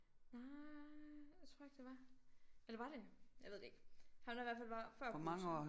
Nej det tror jeg ikke det var eller var det jeg ved det ikke ham der i hvert fald var før Putin